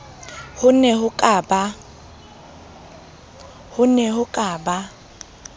ho ne ho ka ba